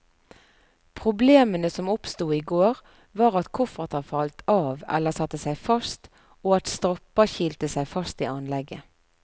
Problemene som oppsto i går, var at kofferter falt av eller satte seg fast, og at stropper kilte seg fast i anlegget.